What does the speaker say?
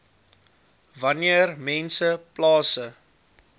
wanneer mense plase